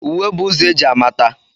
Uwe bụ ụzọ e ji amata.